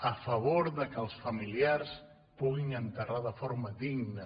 a favor que els familiars puguin enterrar de forma digna